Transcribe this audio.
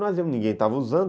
Ninguém estava usando.